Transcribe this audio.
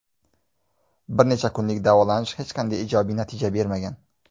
Bir necha kunlik davolanish hech qanday ijobiy natija bermagan.